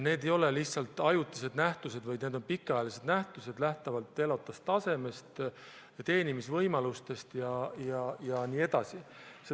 Need ei ole ajutised nähtused, vaid need on pikaajalised nähtused, lähtuvalt elatustasemest, teenimisvõimalustest jne.